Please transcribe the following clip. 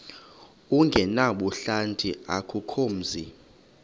ongenabuhlanti akukho mzi